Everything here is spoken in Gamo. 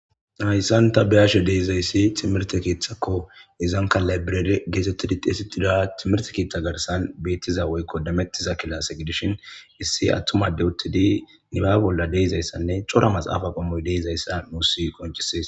Haysani ta beyashe de'izaysi timrte keethako, izanka library getetidi xeysetiza timirte keetha garsan beetiza woyko demetiza kilase gidishin issi atuma Adey uttidi nibabe bolla de'izaysanne cora maxafeyi de'izaysa nuusi qoncises.